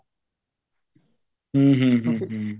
ਹਮ ਹਮ ਹਮ